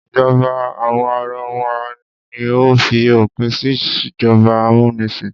Ìjọba àwa arawa ni ó fi òpin sí ìjọba amúnisìn.